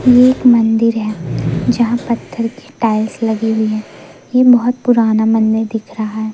ये एक मंदिर है। जहां पत्थर की टाइल्स लगी हुई है ये बहोत पुराना मंदिर दिख रहा है।